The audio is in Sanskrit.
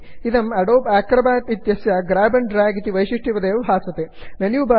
इदं अदोबे एक्रोबैट् आडोब् अक्रोबाट्इत्यस्य ग्र्याब् अण्ड् ड्र्याग् इति वैशिष्ट्यवदेव भासते